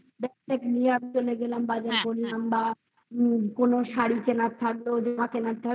bag নিয়ে আমি চলে গেলাম বাজার করলাম বা কোনো শাড়ি কেনার থাকলে ওদের হাতে নাড়তে হবে